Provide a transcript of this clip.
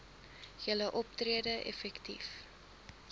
julle optrede effektief